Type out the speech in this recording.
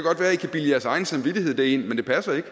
bilde jeres egen samvittighed det ind men det passer ikke